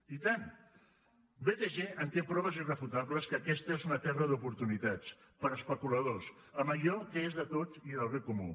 i tant btg en té proves irrefutables que aquesta és una terra d’oportunitats per a especuladors amb allò que és de tots i del bé comú